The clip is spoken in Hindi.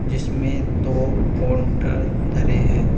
जिसमें दो कोंटर धरे हैं।